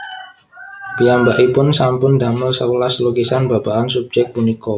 Piyambakipun sampun damel sewelas lukisan babagan subjék punika